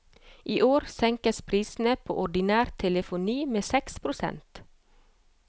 I år senkes prisene på ordinær telefoni med seks prosent.